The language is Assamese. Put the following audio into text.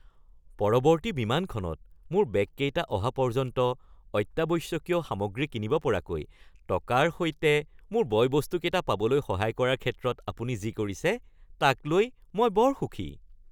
পৰৱৰ্তী বিমানখনত মোৰ বেগকেইটা অহা পৰ্যন্ত অত্যাৱশ্যকীয় সামগ্ৰী কিনিব পৰাকৈ টকাৰ সৈতে মোৰ বয়-বস্তকেইটা পাবলৈ সহায় কৰাৰ ক্ষেত্ৰত আপুনি যি কৰিছে তাক লৈ মই বৰ সুখী। (গ্ৰাহক)